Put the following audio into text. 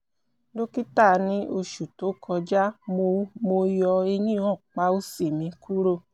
ct scan mi fihan pe o jẹ inflammatory gramuloma ati gbogbo awọn iyokù jẹ deede